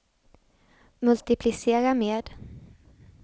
multiplicera med